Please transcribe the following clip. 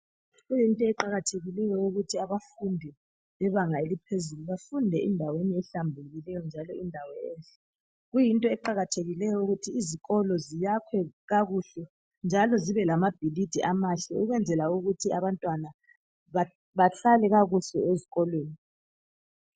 Kuyinto eqakathekileyo ukuthi abafundi bebanga eliphezulu bafunde endaweni ehlambulukileyo njalo indawo enhle .Kuyinto eqakathekileyo ukuthi izikolo ziyakhwe kakuhle .Njalo zibe lamabhilidi amahle ukwenzela ukuthi abantwana bahlale kakuhle ezikolweni .